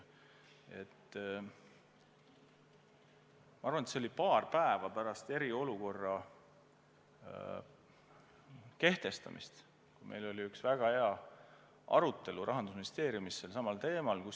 See oli paar päeva pärast eriolukorra kehtestamist, kui meil oli Rahandusministeeriumis väga asjalik arutelu sellelsamal teemal.